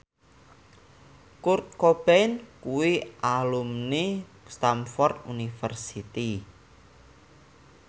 Kurt Cobain kuwi alumni Stamford University